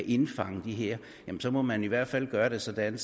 indfange dem her ja så må man jo i hvert fald gøre det sådan